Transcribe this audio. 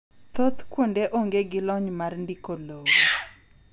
thoth kuonde onge gi lony mar ndiko lowo